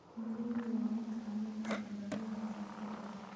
Galleydu waa mid ka mid ah dalagyada aasaasiga ah.